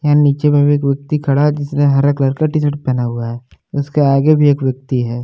यहां नीचे में भी एक व्यक्ति खड़ा है। जिसने हरा कलर का टी शर्ट पहना हुआ है। उसके आगे भी एक व्यक्ति है।